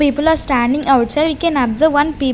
People are standing outside we can observe one pe--